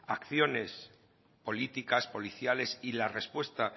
acciones políticas policiales y la respuesta